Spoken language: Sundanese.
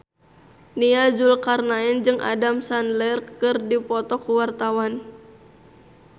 Nia Zulkarnaen jeung Adam Sandler keur dipoto ku wartawan